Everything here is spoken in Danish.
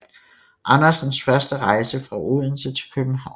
Andersens første rejse fra Odense til København